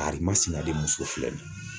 karimasina denmuso de filɛ nin ye.